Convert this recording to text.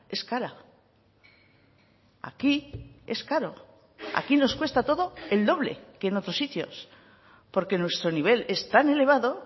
es cara aquí es caro aquí nos cuesta todo el doble que en otros sitios porque nuestro nivel es tan elevado